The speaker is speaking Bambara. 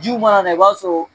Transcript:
Jiw mana na i b'a sɔrɔ